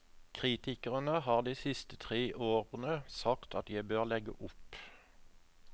Kritikerne har de siste tre årene sagt at jeg bør legge opp.